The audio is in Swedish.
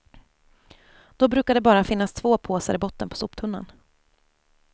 Då brukar det bara finnas två påsar i botten på soptunnan.